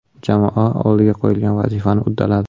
Jamoa oldiga qo‘yilgan vazifani uddaladi.